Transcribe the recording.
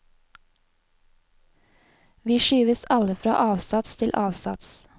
Vi skyves alle fra avsats til avsats.